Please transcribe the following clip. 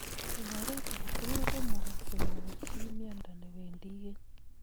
Eng oret ake tugul komukaksei konyor chii miondo newendii keny